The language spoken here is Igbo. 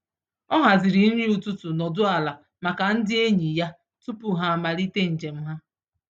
Ọ haziri nri ụtụtụ nọdụ ala maka ndị enyi ya tupu ha amalite njem ha.